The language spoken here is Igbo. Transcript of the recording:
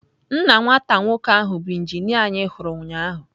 Nna nwata nwoke ahụ bụ injinia anyị hụrụ ụnyahụ.